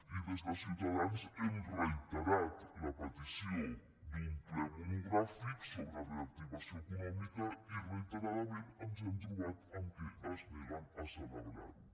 i des de ciutadans hem reiterat la petició d’un ple monogràfic sobre reactivació econòmica i reiteradament ens hem trobat que es neguen a celebrar lo